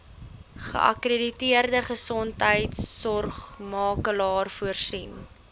geakkrediteerde gesondheidsorgmakelaar voorsien